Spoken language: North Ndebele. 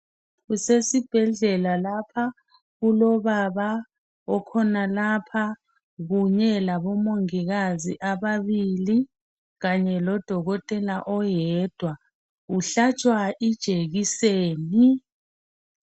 Kusesibhedlela lapha kulobaba okhonalapha kunye labomongikazi ababili kanye lodokotela oyedwa uhlatshwa ijekiseni